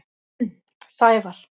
Sævar